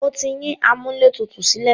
Mo ti yín amúlẹ̀tutù sílẹ̀.